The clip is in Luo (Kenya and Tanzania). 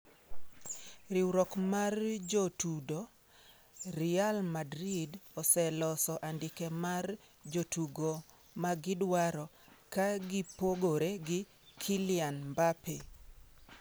(Riwruok mar Jotudo) Real Madrid oseloso andike mar jotugo ma gidwaro, ka gipogore gi Kylian Mbappe.